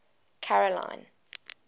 carolina